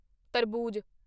ਤਰਬੂਜ